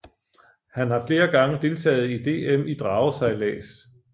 Han har flere gange deltaget i DM i dragesejlads